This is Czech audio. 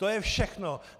To je všechno.